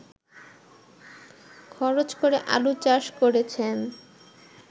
খরচ করে আলুচাষ করেছেন